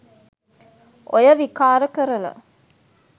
ඔය විකාර කරලා